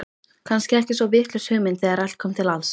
Kannski ekki svo vitlaus hugmynd þegar allt kom til alls.